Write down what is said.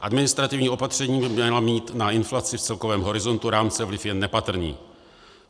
Administrativní opatření by měla mít na inflaci v celkovém horizontu rámce vliv jen nepatrný.